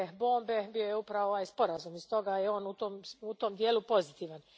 bombe bio je upravo ovaj sporazum, i stoga je on u tom dijelu pozitivan.